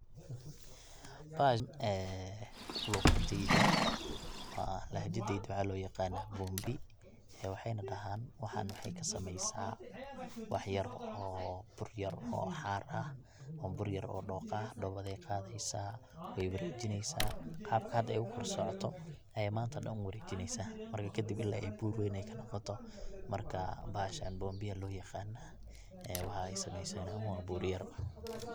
Bahashan ee luqadeyda ama lahjadeyda waxaa loo yaqanaa bombi, waxay na dhahan waxan waxay kasameeysa wax yar bur yar oo xaar ah ama bur yar oo dhooqa ah, dhoobaday qaadeysa way wareejineysa qabka hada ay ogu kor socoto ayay manta dhan u wareejineysa, marka kadib ila iyo bur weyn ay kanoqoto markaa bahashan bombi aya loo yaqanaa waxaa ay sameeysa na wa bur yar.